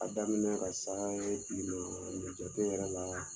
A daminɛ ka s'ala ne tun bɛna ni mucaku yɛrɛ la